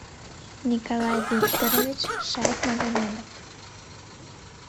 николай викторович шайхмагомедов